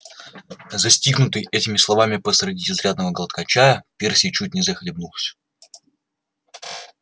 застигнутый этими словами посреди изрядного глотка чая перси чуть не захлебнулся